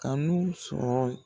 Kanu sɔrɔ